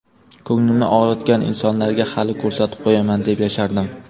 Ko‘nglimni og‘ritgan insonlarga hali ko‘rsatib qo‘yaman deb yashardim.